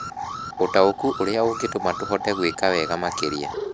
Ũtaũku ũrĩa ũngĩtũma tũhote gwĩka wega makĩria